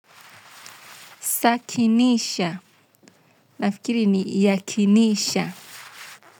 Sakinisha nafikiri ni yakinisha.